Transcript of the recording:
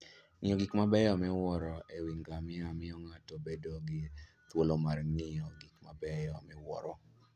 Ng'iyo gik mabeyo miwuoro e wi ngamia miyo ng'ato bedo gi thuolo mar ng'iyo gik mabeyo miwuoro.